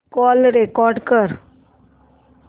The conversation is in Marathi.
कॉल रेकॉर्ड कर